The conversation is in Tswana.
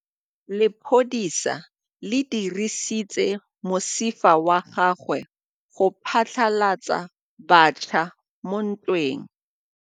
Lepodisa le dirisitse mosifa wa gagwe go phatlalatsa batšha mo ntweng.